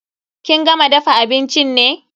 Kin gama dafa abincin ne?